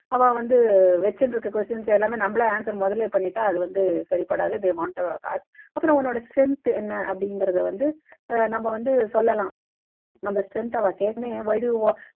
அவா வந்த வச்சிட்டு இருக்க questions எல்லாமே நம்மளே answer முதல்லயே பண்ணிட்டா அது வந்து சரிப்படாது they want to ask அப்புறம் உன்னோட strength என்ன அப்படிங்கிறதை வந்து ஆஹ் நம்ம வந்து சொல்லலாம் நம்ம strength அவா why do you wa